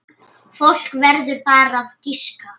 Fólk verður bara að giska.